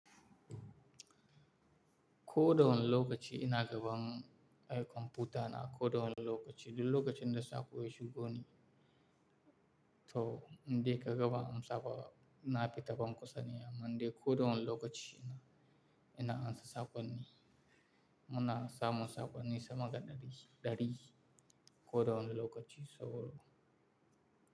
Koda wani lokaci ina gaban ai computer na koda wani lokaci. Duk lokaci da sa ko yashigo mani, to in de ka gaban amsa ba na fita ban kusa ne amma dai koda wani lokaci ina, ina ansa sakon ni. Muna sa mu sakon ni sama da dari, dari koda wani lokaci so.